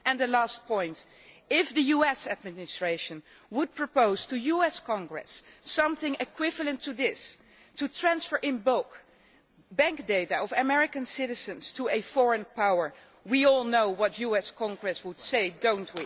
Finally, the last point, if the US Administration would propose to US Congress something equivalent to this to transfer in bulk bank data of American citizens to a foreign power we all know what the US Congress would say don't